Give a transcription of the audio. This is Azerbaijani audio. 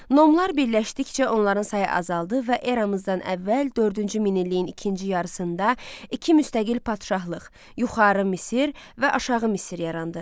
Nomlar birləşdikcə onların sayı azaldı və eramızdan əvvəl dördüncü minilliyin ikinci yarısında iki müstəqil padşahlıq, yuxarı Misir və aşağı Misir yarandı.